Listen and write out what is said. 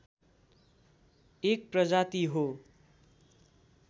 एक प्रजाति हो